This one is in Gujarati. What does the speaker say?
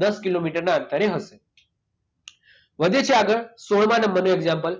દસ કિલોમીટરના અંતરે હશે. વધીએ છીએ આગળ સોળમાં નંબરનું એક્ષામપલ.